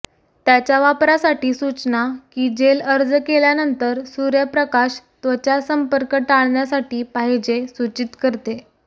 त्याच्या वापरासाठी सूचना की जेल अर्ज केल्यानंतर सूर्यप्रकाश त्वचा संपर्क टाळण्यासाठी पाहिजे सूचित करते